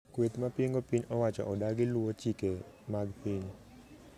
Kweth mapingo piny owacho odagi luo chike mag piny